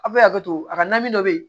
A bɛ hakɛto a ka na dɔ bɛ yen